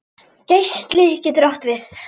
Geisli getur átt við